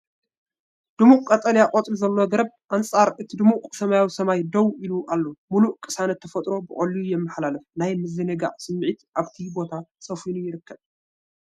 ድሙቕ ቀጠልያ ቆጽሊ ዘለዎ ገረብ ኣንጻር እቲ ድሙቕ ሰማያዊ ሰማይ ደው ኢሉ ኣሎ። ምሉእ ቅሳነት ተፈጥሮ ብቐሊሉ የመሓላልፍ፤ ናይ ምዝንጋዕ ስምዒት ኣብቲ ቦታ ሰፊኑ ይርከብ።